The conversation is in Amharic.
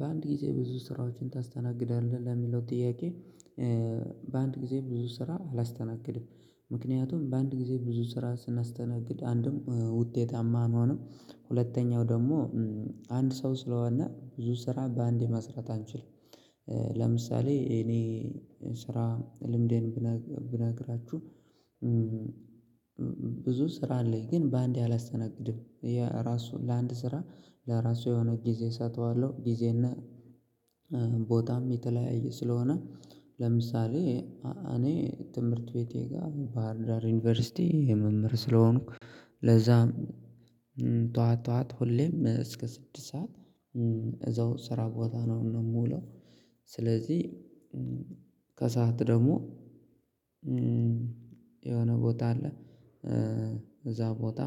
በአንድ ጊዜ ብዙ ስራዎችን ታስተናግዳለህ ለሚለው ጥያቄ? በአንድ ጊዜ ብዙ ስራ አላስተናግድም ምክንያቱም በአንድ ጊዜ ብዙ ስራ ስናስተናግድ አንድም ውጤታማ አንሆንም ሁለተኛው ደግሞ አንድ ሰው ስለሆነ ብዙ ስራ ባንዴ መስራት አንችልም። ለምሳሌ እኔ ስራ ልምዴን ብነግራችሁ። ብዙ ስራ አለኝ ግን በአንዴ አላስተናግድም። ለአንድ ስራ ለራሱ የሆነ ጊዜ እሰጠዋለሁ። ጊዜና ቦታም የተለያየ ስለሆነ። ለምሳሌ እኔ ትምህርት ቤቴ ጋር ባህር ዳር ዩኒቨርሲቲ መምህር ስለሆንኩ። ለዛም ጧት ጧት ሁሌም እስከ ስድስት ሰዓት እዛው ስራ ቦታ ነው የምውለው። ስለዚህ ከሰአት ደግሞ የሆነ ቦታ አለ እዛ ቦታ